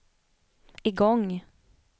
igång